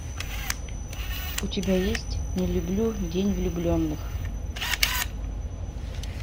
у тебя есть не люблю день влюбленных